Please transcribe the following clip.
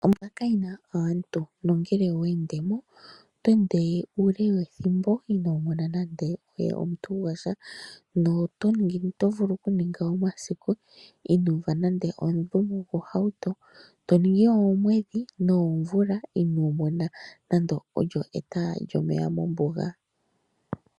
Ombuga kayina aantu nongele oweendemo oto vulu okuninga uule wethimbo ino mona nande omuntu gwasha. Oto vulu okuninga omasiku ino uva ohauto tayuuma noshowo oomwedhi noomvula ino mona eta lyomeya mombuga..